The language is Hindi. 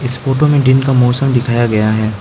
इस फोटो में दिन का मौसम दिखाया गया है।